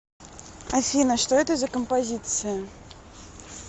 афина что это за композиция